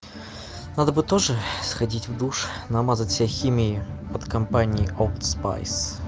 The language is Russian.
надо бы тоже сходить в душ намазать себя химией от компании олд спайс